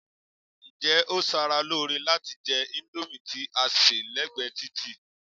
Ǹjẹ́ ó ṣara lóore láti jẹ índómì tí a sè lẹ́gbẹ̀ẹ́ títì?